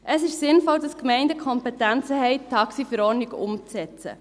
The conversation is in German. Es ist sinnvoll, dass Gemeinden die Kompetenzen haben, die TaxiV umzusetzen.